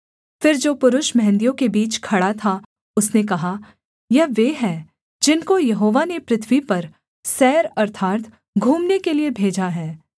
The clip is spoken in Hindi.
फिर जो पुरुष मेंहदियों के बीच खड़ा था उसने कहा यह वे हैं जिनको यहोवा ने पृथ्वी पर सैर अर्थात् घूमने के लिये भेजा है